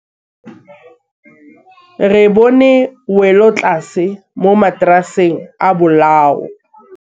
Re bone wêlôtlasê mo mataraseng a bolaô.